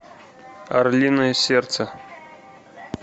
орлиное сердце